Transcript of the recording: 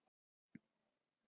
Gerðu endilega verðsamanburð!